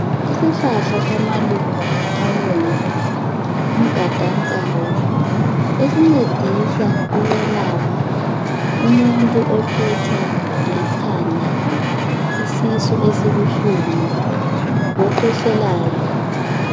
Isihlahla samaluba abomvu umgada nkawu esingcedisa ukwelapha umuntu ohlutshwa likhanda isisu esibuhlungu lokhwehlelayo